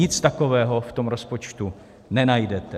Nic takového v tom rozpočtu nenajdete.